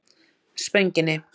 Spönginni